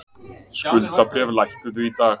Skuldabréf lækkuðu í dag